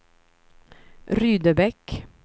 Rydebäck